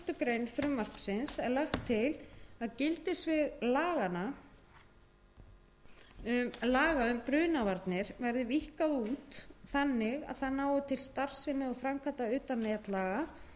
grein frumvarpsins er lagt til að gildissvið laga um brunavarnir verði víkkað út þannig að það nái til starfsemi og framkvæmda utan netlaga